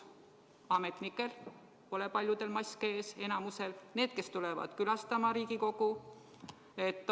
Ametnikel pole paljudel maski ees, ka enamikul neist, kes tulevad külastama Riigikogu.